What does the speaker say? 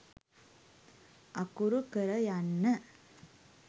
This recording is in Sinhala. අකුරු කර යන්න.